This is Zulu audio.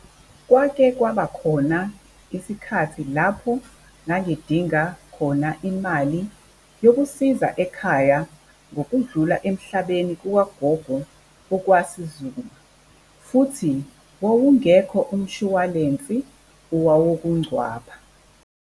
Kwakhe kwaba khona isikhathi lapho ngangidinga khona imali yokusiza ekhaya ngokudlula emhlabeni kukagogo okwasizuma, futhi wawungekho umshwalensi owawokungcwaba.